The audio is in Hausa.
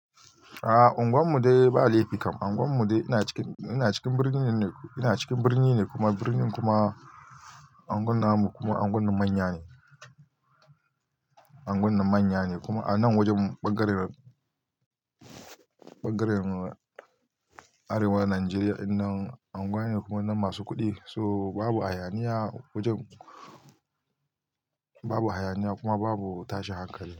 A unguwar mu dai ba laifi kam. Unguwar mu de ina cikin, ina cikin birni ne, ina cikin birni ne kuma birnin kuma unguwan namu kuma anguwan na manya ne, anguwan na manya ne kuma a nan wajen ɓangaren, ɓangaren Arewa Najeriya in nan anguwa ne kuma nan masu kuɗi. To babu hayaniya wajen, babu hayaniya kuma babu tashin hankali.